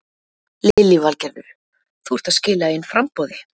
Lillý Valgerður: Þú ert að skila inn framboði?